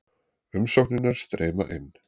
Umsóknirnar streyma inn